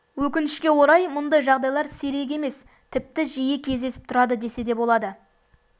өкінішке орай мұндай жағдайлар сирек емес тіпті жиі кездесіп тұрады десе де болады